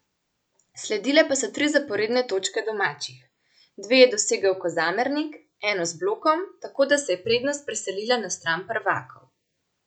Sledile pa so tri zaporedne točke domačih, dve je dosegel Kozamernik, eno z blokom, tako da se je prednost preselila na stran prvakov.